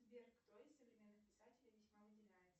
сбер кто из современных писателей весьма выделяется